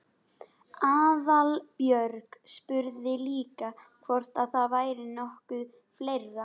Aðalbjörg spurði líka hvort það væri nokkuð fleira?